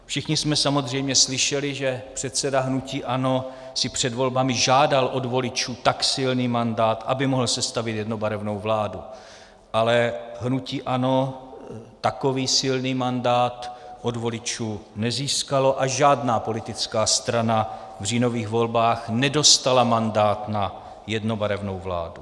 Všichni jsme samozřejmě slyšeli, že předseda hnutí ANO si před volbami žádal od voličů tak silný mandát, aby mohl sestavit jednobarevnou vládu, ale hnutí ANO takový silný mandát od voličů nezískalo a žádná politická strana v říjnových volbách nedostala mandát na jednobarevnou vládu.